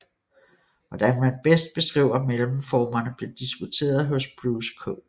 Hvordan man bedst beskriver mellemformerne blev diskuteret hos Bruce K